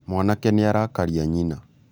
mwanake nĩ arakaria nyina